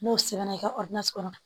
N'o sɛbɛnna i ka kɔnɔ